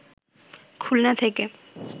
খুলনা থেকে